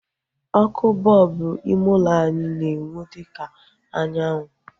Ọkụ bọlbụ ime ulo anyị na-enwu dịka anyanwụ